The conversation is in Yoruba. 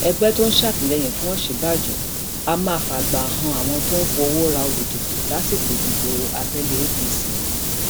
ẹgbẹ tó ń sàtìlẹyìn fún òsínbàjò á máa fàgbà han àwọn tó ń fọwọ ra olùdìbò lásìkò ìdìbò abẹlé apc